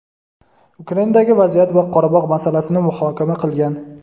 Ukrainadagi vaziyat va Qorabog‘ masalasini muhokama qilgan.